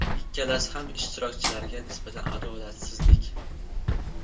Ikkalasi ham ishtirokchilarga nisbatan adolatsizlik.